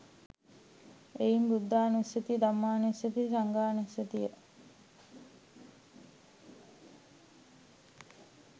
එයින් බුද්ධානුස්සතිය, ධම්මානුස්සතිය, සංඝානුස්සතිය